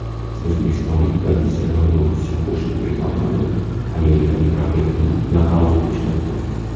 O‘zbekistonlik professional bokschi Xurshidbek Normatov amerikalik raqibini nokautga uchratdi .